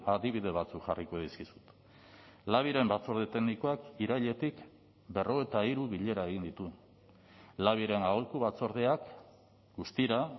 adibide batzuk jarriko dizkizut labiren batzorde teknikoak irailetik berrogeita hiru bilera egin ditu labiren aholku batzordeak guztira